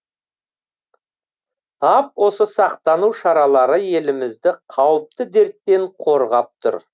тап осы сақтану шаралары елімізді қауіпті дерттен қорғап тұр